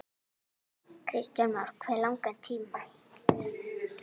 Kristján Már: Hve langan tíma?